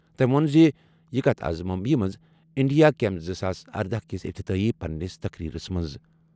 تٔمۍ ووٚن زِ یہِ کَتھ آز ممبئیہِ منٛز انڈیا کیم زٕ ساس اردَہ کِس افتتاحی پننِس تقریرَس منٛز۔